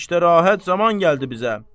İşdə rahat zaman gəldi bizə.